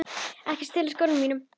Ekki stela skónum mínum!